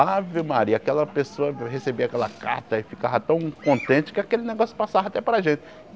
Ave Maria, aquela pessoa recebia aquela carta e ficava tão contente que aquele negócio passava até para a gente.